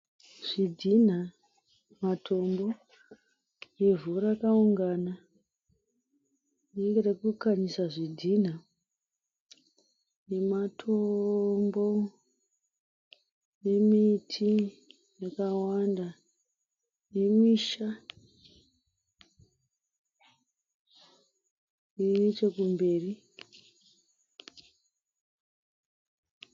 Zvidhina, matombo, ivhu rakaungana rinenge rokukanyisa zvidhina nematombo nemiti yakawanda nemisha iri nechekumberi.